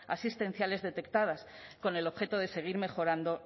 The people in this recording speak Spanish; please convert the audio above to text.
asistenciales detectadas con el objeto de seguir mejorando